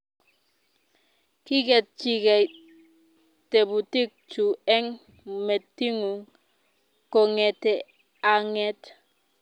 Kiketchikei tebutik chu eng metinyu kongete ang'et